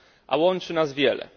A łączy nas wiele.